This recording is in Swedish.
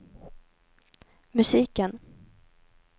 musiken